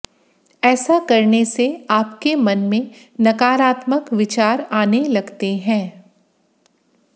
ऐसा करने से आपके मन में नकारात्मक विचार आने लगते हैं